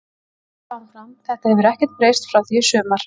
Ég ætla að vera áfram, þetta hefur ekkert breyst frá því í sumar.